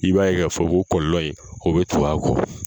I b'a ye k'a fɔ o kɔlɔlɔ in o bɛ tugun a kɔ.